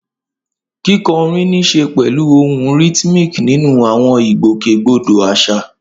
Kíkọrin ní í ṣe pẹ̀lú ohùn rhythmic nínú àwọn ìgbòkègbodò àṣà.